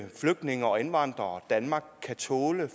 flygtninge og indvandrere danmark kan tåle